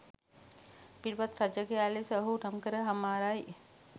පිටපත් රචකයා ලෙස ඔහු නම්කර හමාරයි.